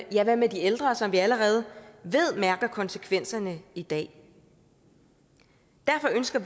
ja hvad med de ældre som vi allerede ved mærker konsekvenserne i dag derfor ønsker